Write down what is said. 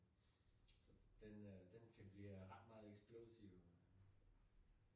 Så den øh den kan blive ret meget eksplosiv